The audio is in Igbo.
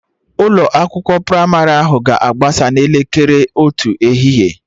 Ụlọ akwụkwọ pramarị ahụ ga-agbasa n'elekere otu ehihie